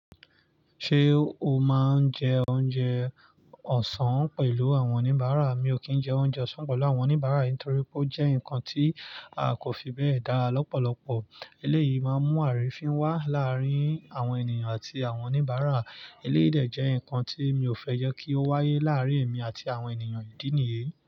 Ṣé o máa ń jẹ oúnjẹ ọ̀sán pẹ̀lú àwọn oníbàárà? Mi ò kì n jẹ oúnjẹ ọ̀sán pẹ̀lú àwọn oníbàárà nítorí pé ó jẹ́ nǹkan tí kò fi bẹ́ẹ̀ dára lọ́pọ̀lọpọ̀. Eléyìí máa ń mú àrífín wá láàárín àwọn ènìyàn àti àwọn oníbàárà. Eléyìí de jẹ́ ǹkan tí mi ò fẹ́ jẹ́ kí ó wáyé láàárín èmi àti àwọn ènìyàn ìdí nìyí.